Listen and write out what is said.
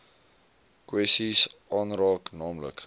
kwessies aanraak naamlik